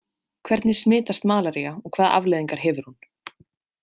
Hvernig smitast malaría og hvaða afleiðingar hefur hún?